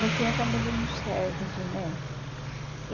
No fim, acabou dando certo, né?